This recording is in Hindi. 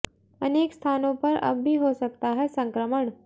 अनेक स्थानों पर अब भी हो सकता है संक्रमण